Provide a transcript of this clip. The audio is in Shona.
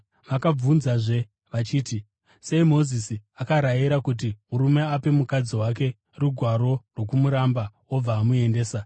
Vakabvunzazve vachiti, “Sei Mozisi akarayira kuti murume ape mukadzi wake rugwaro rwokumuramba obva amuendesa?”